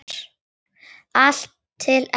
Allt til enda, alla leið.